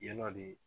Yalɔ de